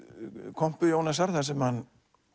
kompu Jónasar þar sem hann